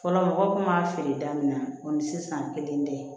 Fɔlɔ mɔgɔw kun b'a feere da min na o ni sisan kelen tɛ